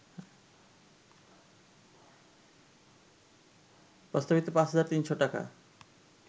প্রস্তাবিত ৫ হাজার ৩০০ টাকা